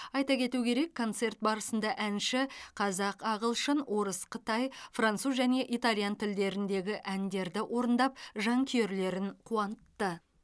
айта кету керек концерт барысында әнші қазақ ағылшын орыс қытай француз және итальян тілдеріндегі әндерді орындап жанкүйерлерін қуантты